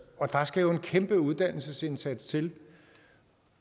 og der skal jo en kæmpe uddannelsesindsats til